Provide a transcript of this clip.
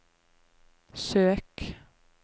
søk